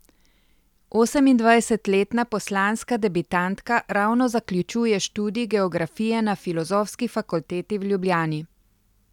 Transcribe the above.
Osemindvajsetletna poslanska debitantka ravno zaključuje študij geografije na Filozofski fakulteti v Ljubljani.